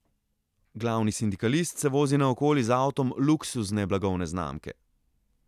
Glavni sindikalist se vozi naokoli z avtom luksuzne blagovne znamke.